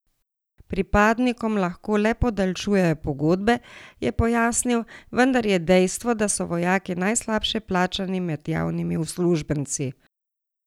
Pripadnikom lahko le podaljšujejo pogodbe, je pojasnil, vendar je dejstvo, da so vojaki najslabše plačani med javnimi uslužbenci.